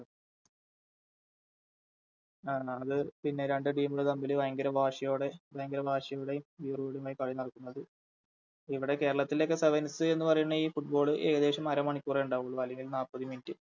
ആഹ് ആഹ് അത് പിന്നെ രണ്ട് Team കൾ തമ്മില് ഭയങ്കര വാശിയോടെ ഭയങ്കര വാശിയോടെയും വീറോടെയുമായി കളിനടക്കുന്നത് ഇവിടെ കേരളത്തിലൊക്കെ Sevens എന്ന് പറയുന്ന ഈ Football ഏകദേശം അരമണിക്കൂറേ ഉണ്ടാവൂളു അല്ലെങ്കിൽ നാപ്പത് Minute